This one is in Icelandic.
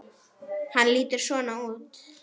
Hann lítur svona út